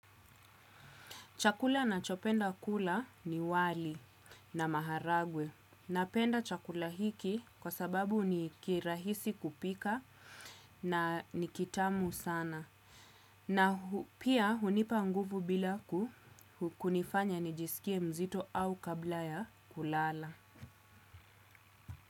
Chakula na chopenda kula ni wali na maharagwe. Napenda chakula hiki kwa sababu ni kirahisi kupika na nikitamu sana. Na pia hunipa nguvu bila ku kunifanya nijisikie mzito au kabla ya kulala.